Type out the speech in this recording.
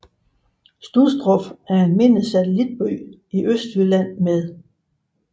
Studstrup er en mindre satellitby i Østjylland med